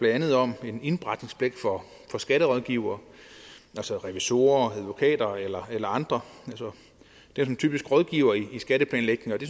andet om en indberetningspligt for skatterådgivere altså revisorer advokater eller andre det er jo typisk rådgivere i skatteplanlægning og det